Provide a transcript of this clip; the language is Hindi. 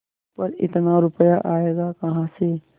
पर इतना रुपया आयेगा कहाँ से